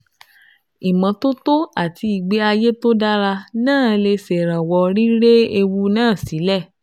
Ìmọ́tótó àti ìgbé ayé tó dára náà lè ṣèrànwọ́ rírẹ ewu náà sílẹ̀